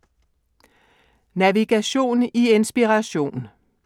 Navigation i Inspiration